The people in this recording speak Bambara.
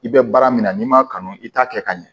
I bɛ baara min na n'i m'a kanu i t'a kɛ ka ɲɛ